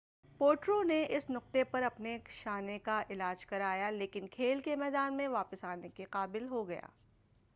پوٹرو نے اس نقطہ پر اپنے شانہ کا علاج کرایا لیکن کھیل کے میدان میں واپس آنے کے قابل ہو گیا